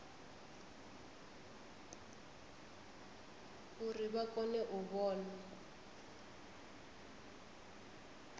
uri vha kone u vhona